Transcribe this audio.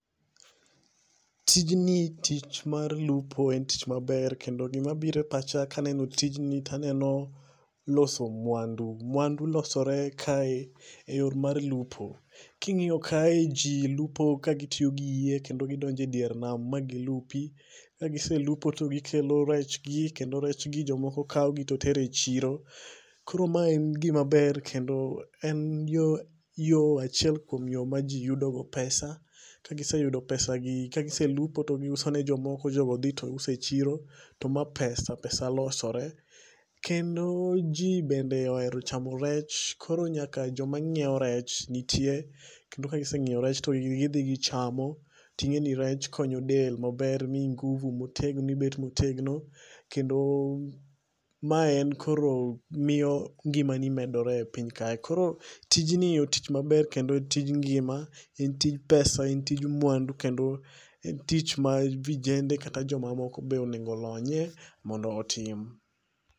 Tijni tich mar lupo en tich maber kendo gima biro e pacha kaneno tijni taneno loso mwandu. Mwandu losore kae eyor mar lupo. King'iyo kae jii lupo kagitiyo gi yie kendo gidonje dier nam ma gilupi ka giselupo to gikelo rech gi kendo rech gi jomoko kaw gi to tero e chiro. Koro mae en gima ber kendo en yoo achiel kuom yoo ma jii yudogo pesa. Ka giseyudo pesa gi kagiselupo to giuso ne jomoko jogo dhi to uso e chiro to ma pesa, pesa losore. Kendo jii bende ohero chamo rech koro nyaka joma nyiew rech nitie kendo ka gisenyiew rech to gidhi gichamo to ingeni rech konyo del maber miyi nguvu motegno, ibet motegno kendo mae en koro miyo ngimani medore e piny kae. Koro tijni otich maber kendo otij ngima, en tij pesa, en tij mwandu kendo en tich ma vijende kata jomoko be onego olony mondo otim